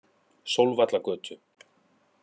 Sólvallagötu